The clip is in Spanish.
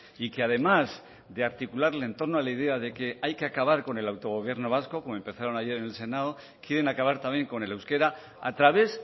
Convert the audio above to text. y que además de articular el entorno a la idea de que hay que acabar con el autogobierno vasco como empezaron ayer en el senado quieren acabar también con el euskera a través